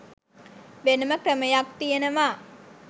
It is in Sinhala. වෙනම ක්‍රමයක් තියෙනවා.